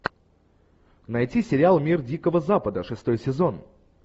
найти сериал мир дикого запада шестой сезон